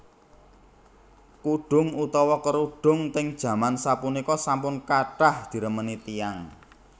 Kudhung utawa kerudung ting jaman sapunika sampun kathah diremeni tiyang